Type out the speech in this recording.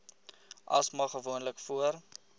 asma gewoonlik voor